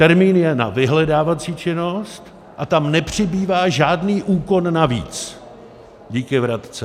Termín je na vyhledávací činnost a tam nepřibývá žádný úkon navíc díky vratce.